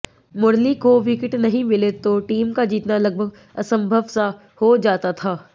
मुरली को विकेट नहीं मिले तो टीम का जीतना लगभग असंभव सा हो जाता था